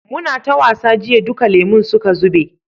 muna ta wasa jiya duka lemun suka zube